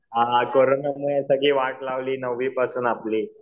हां कोरोनानं सगळी वाट लावली नववीपासून आपली.